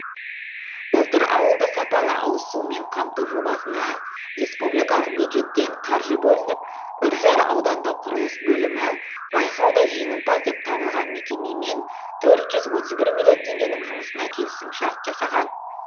былтыр ауылды сапалы ауызсумен қамту жобасына республикалық бюджеттен қаржы бөлініп үржар аудандық құрылыс бөлімі байқауда жеңімпаз деп табылған мекемемен төрт жүз отыз бір миллион теңгенің жұмысына келісімшарт жасаған